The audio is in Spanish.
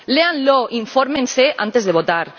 Léanlo, infórmense antes de votar.